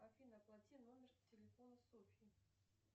афина оплати номер телефона софьи